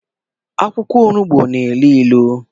akwụkwọ onugbu n'ilu ilu.